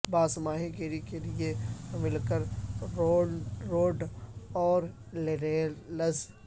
باس ماہی گیری کے لئے مل کر روڈ اور رییلز